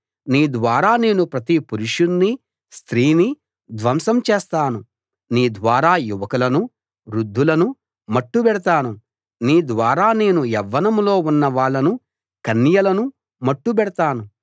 నీ ద్వారా నేను ప్రతి పురుషుణ్ణీ స్త్రీనీ ధ్వంసం చేస్తాను నీ ద్వారా యువకులనూ వృద్ధులనూ మట్టుబెడతాను నీ ద్వారా నేను యవ్వనంలో ఉన్న వాళ్ళనూ కన్యలనూ మట్టుబెడతాను